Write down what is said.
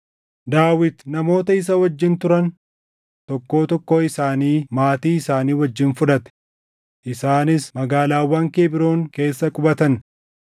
Daawit namoota isa wajjin turan tokkoo tokkoo isaanii maatii isaanii wajjin fudhate; isaanis magaalaawwan Kebroon keessa qubatan.